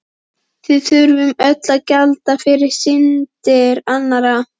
Við þurfum öll að gjalda fyrir syndir annarra.